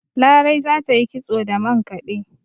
Larai za ta yi kitso da mankade